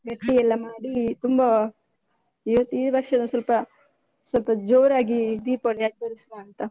ಗಟ್ಟಿ ಎಲ್ಲ ಮಾಡಿ ತುಂಬ ಇವತ್ತು ಈ ವರ್ಷದ ತುಂಬ ಸ್ವಲ್ಪ ಸ್ವಲ್ಪ ಜೋರಾಗಿ ದೀಪಾವಳಿ ಆಚರಿಸುವ ಅಂತ.